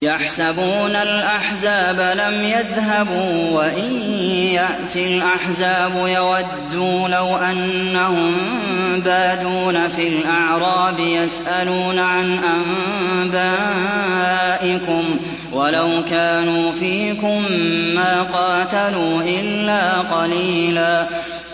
يَحْسَبُونَ الْأَحْزَابَ لَمْ يَذْهَبُوا ۖ وَإِن يَأْتِ الْأَحْزَابُ يَوَدُّوا لَوْ أَنَّهُم بَادُونَ فِي الْأَعْرَابِ يَسْأَلُونَ عَنْ أَنبَائِكُمْ ۖ وَلَوْ كَانُوا فِيكُم مَّا قَاتَلُوا إِلَّا قَلِيلًا